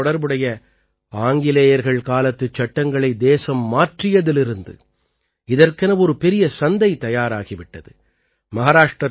மூங்கிலோடு தொடர்புடைய ஆங்கிலேயர்கள் காலத்துச் சட்டங்களை தேசம் மாற்றியதிலிருந்து இதற்கென ஒரு பெரிய சந்தை தயாராகி விட்டது